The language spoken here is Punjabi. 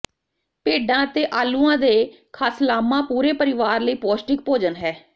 ਭੇਡਾਂ ਅਤੇ ਆਲੂਆਂ ਦੇ ਖਾਸਲਾਮਾ ਪੂਰੇ ਪਰਿਵਾਰ ਲਈ ਪੌਸ਼ਟਿਕ ਭੋਜਨ ਹੈ